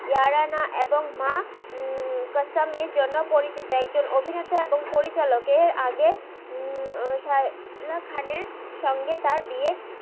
ইয়ারানা এবং মা কাসাম এর জন্য পরিচিত একজন অভিনেতা বং পরিচালাক এর আগে সাইলা খানের সঙ্গে তার বিয়ে